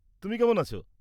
তুমি কেমন আছ?